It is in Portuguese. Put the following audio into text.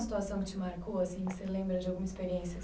Alguma situação que te marcou, assim? Você lembra de alguma experiência?